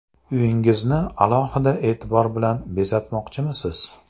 Uyingizni alohida e’tibor bilan bezatmoqchimisiz?